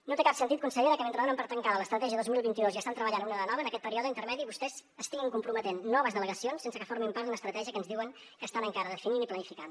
no té cap sentit consellera que mentre donen per tancada l’estratègia dos mil vint dos i estan treballant en una de nova en aquest període intermedi vostès estiguin comprometent noves delegacions sense que formin part d’una estratègia que ens diuen que estan encara definint i planificant